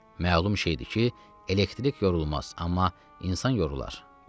Məlum şeydir ki, elektrik yorulmaz, amma insan yorular.